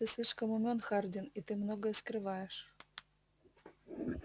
ты слишком умён хардин и ты многое скрываешь